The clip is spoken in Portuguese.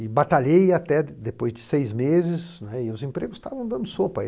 E batalhei até depois de seis meses, não é e os empregos estavam dando sopa.